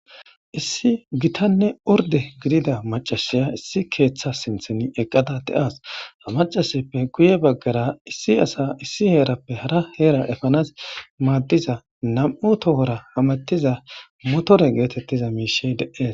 Issi gitane oridde giddiada maccasiyi gitta ketha sinthani eqaddas ha macaseppe guye baggara issi assa issi herappe harra hera efanasi madida nam'u tohora hamutidda mishi deyesi